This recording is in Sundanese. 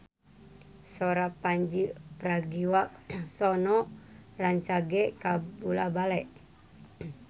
Sora Pandji Pragiwaksono rancage kabula-bale